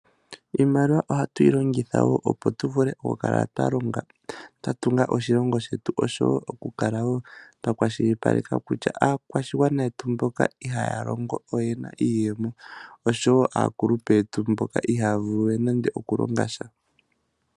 Iimaliwa ohatuyilongitha wo opo tuvule okukala twalonga, twatunga oshilongo shetu osho wo okukala wo twakwashilipaleka kutya aakwashigwana yetu mboka ihayalongo oyena iiyemo osho wo aakulupe yetu mboka ihayavulu okulonga sha.